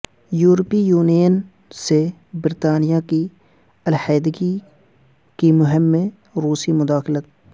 یورپی یونین سے برطانیہ کی علیحدگی کی مہم میں روسی مداخلت